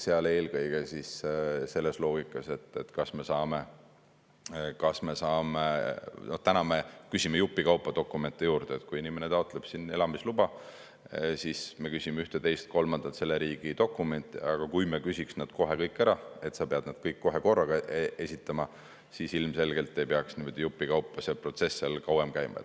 Täna me küsime jupi kaupa dokumente juurde, et kui inimene taotleb elamisluba, siis me küsime ühte-teist-kolmandat selle riigi dokumenti, aga kui me küsiksime nad kohe kõik ära, et need peaks kõik kohe korraga esitama, siis ilmselgelt ei peaks niimoodi jupi kaupa see protsess seal kauem käima.